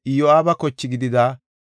Elama yarati 1,254;